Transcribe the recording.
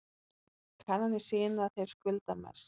Kannanir sýna að þeir skulda mest